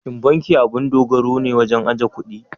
Shin banki abun dogaro ne wajen ajiye kuɗi?